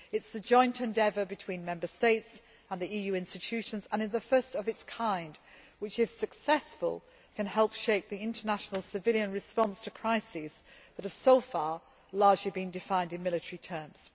It is a joint endeavour between Member States and the EU institutions and it is the first of its kind, which, if successful, can help shape the international civilian response to crises that have so far largely been defined in military terms.